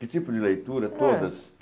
Que tipo de leitura? É, todas